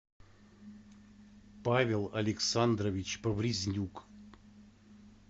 павел александрович поврезнюк